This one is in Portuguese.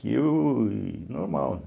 Que o normal, né?